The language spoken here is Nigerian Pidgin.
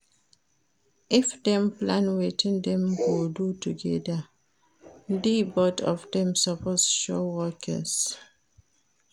If dem plan wetin dem go do together di both of dem suppose show workings